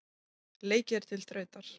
Leikið er til þrautar.